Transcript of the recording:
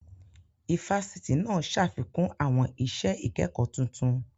Ifásitì náà ṣàfikún àwọn iṣẹ́ ìkẹ́kọ tuntun